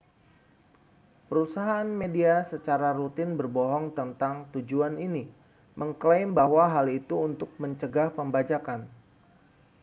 perusahaan media secara rutin berbohong tentang tujuan ini mengeklaim bahwa hal itu untuk mencegah pembajakan